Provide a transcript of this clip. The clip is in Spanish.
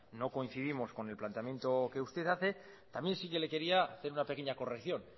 no coincidimos con el planteamiento que usted hace también sí que le quería hacer una pequeña corrección